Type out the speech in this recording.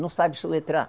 Não sabe soletrar.